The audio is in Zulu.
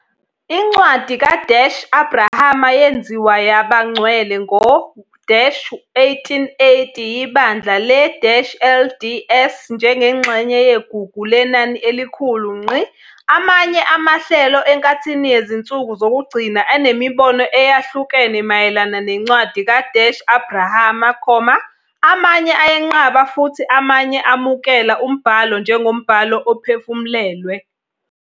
Incwadi ka-Abrahama yenziwa yaba ngcwele ngo-1880 yiBandla le-LDS njengengxenye yeGugu Lenani Elikhulu. Amanye amahlelo eNkathini Yezinsuku Zokugcina anemibono eyahlukene mayelana neNcwadi ka-Abrahama, amanye ayenqaba futhi amanye amukela umbhalo njengombhalo ophefumlelwe.